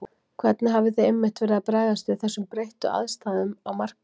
Hvernig hafið þið einmitt verið að bregðast við þessum breyttu aðstæðum á markaði?